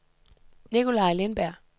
Nicolai Lindberg